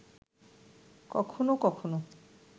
কখনো কখনো